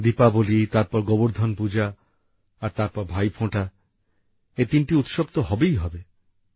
দীপাবলি তারপর গোবর্ধন পূজা আর তারপর ভাইফোঁটা এই তিনটি উৎসব তো হবেই হবে